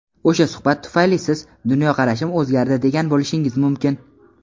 O‘sha suhbat tufayli siz "Dunyoqarashim o‘zgardi" degan bo‘lishingiz mumkin.